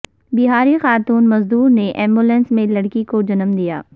بہاری خاتون مزدور نے ایمبولینس میں لڑکی کو جنم دیا